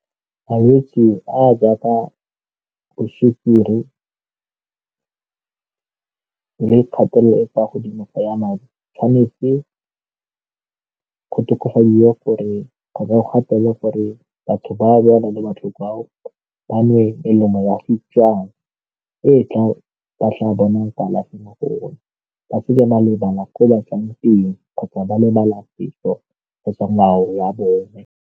Malwetse a a jaaka bo sukiri le kgatelelo e kwa godimo ya madi tshwanetse gore o gatelelwe gore batho ba ba nang le botlhoko ao ba nwe melemo e ba fiwang e tla ba tla bona kalafi mo go one ba tseela malebana ko o batlang teng kgotsa ba lebala kgotsa ngwao ya bone.